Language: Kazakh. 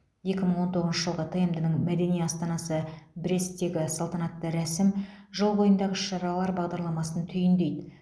екі мың он тоғызыншы жылғы тмд ның мәдени астанасы бресттегі салтанатты рәсім жыл бойындағы іс шаралар бағдарламасын түйіндейді